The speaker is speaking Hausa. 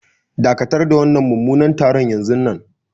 Dakatar da wannan mummunan taron yanzunnan.